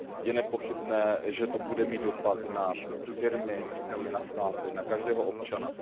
Je nepochybné, že to bude mít dopad na firmy, samozřejmě na státy, na každého občana.